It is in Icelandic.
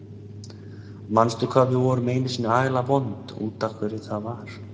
Manstu hvað við vorum einu sinni agalega vond og út af hverju það var?